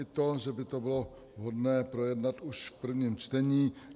I to, že by to bylo vhodné projednat už v prvním čtení.